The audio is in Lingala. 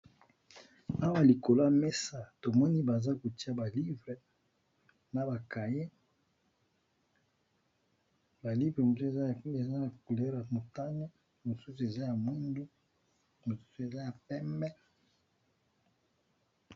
Awa likolo ya mesa tomoni baza kotia ba livre na ba cahier ba livre mosusu eza ya couleur motane mosusu eza ya mwindu mususu eza ya pembe.